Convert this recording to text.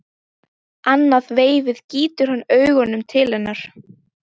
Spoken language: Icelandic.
Annað veifið gýtur hann augunum til hennar.